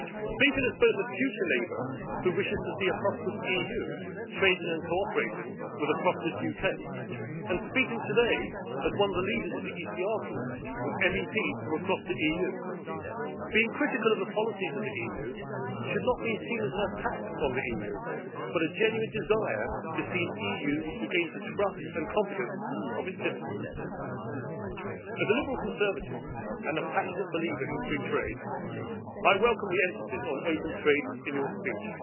Speaking as both a future neighbour who wishes to see a prosperous EU trading and cooperating with a prosperous UK, and speaking today as one of the leaders of the ECR Group with MEPs from across the EU, being critical of the policies of the EU should not be seen as an attack on the EU, but a genuine desire to see an EU which regains the trust and confidence of its citizens. As a liberal Conservative and a passionate believer in free trade, I welcome the emphasis on open trade in your speech.